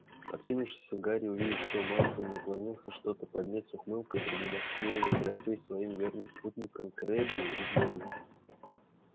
откинувшись гарри увидел что малфой наклонился что-то поднять и с ухмылкой продемонстрировал трофей своим верным спутникам крэббу и гойлу